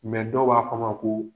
dɔw b'a fɔ a ma ko